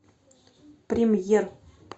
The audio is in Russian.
премьер